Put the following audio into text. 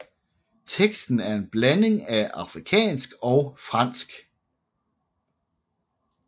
Teksten er en blanding af afrikansk og fransk